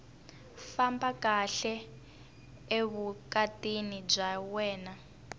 famba kahle evukatini bya wena